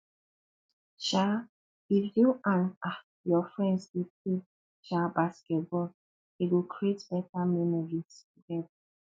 um if you and um your friends dey play um basketball e go create better memories together